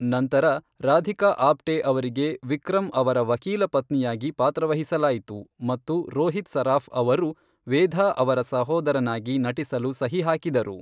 ನಂತರ, ರಾಧಿಕಾ ಆಪ್ಟೆ ಅವರಿಗೆ ವಿಕ್ರಮ್ ಅವರ ವಕೀಲ ಪತ್ನಿಯಾಗಿ ಪಾತ್ರವಹಿಸಲಾಯಿತು ಮತ್ತು ರೋಹಿತ್ ಸರಾಫ್ ಅವರು ವೇಧಾ ಅವರ ಸಹೋದರನಾಗಿ ನಟಿಸಲು ಸಹಿ ಹಾಕಿದರು.